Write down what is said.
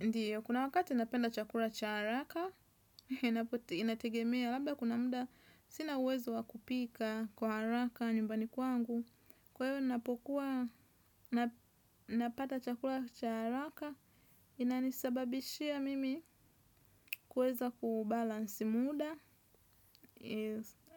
Ndiyo, kuna wakati napenda chakula cha haraka, inategemea, labda kuna muda sina uwezo wa kupika kwa haraka nyumbani kwangu. Kwa hiyo, ninapokuwa napata chakula cha haraka, inanisababishia mimi kuweza kubalance muda